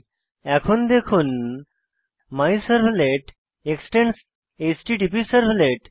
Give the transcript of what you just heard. এখন দেখুন my servlet extends the এচটিটিপিসার্ভলেট